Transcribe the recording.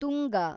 Tunga